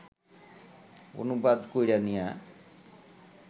অনুবাদ কইরা নিয়া